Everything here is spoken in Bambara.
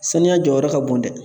Saniya jɔyɔrɔ ka bon dɛ